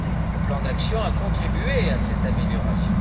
Le plan d'action a contribué à cette amélioration.